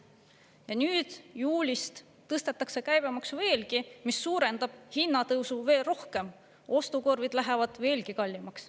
Ja nüüd juulist tõstetakse käibemaksu veelgi, mis suurendab hinnatõusu veel rohkem, ostukorvid lähevad veelgi kallimaks.